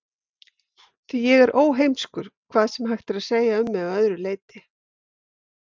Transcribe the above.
Því ég er óheimskur, hvað sem hægt er að segja um mig að öðru leyti.